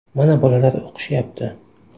Mana bolalar o‘qishyapti.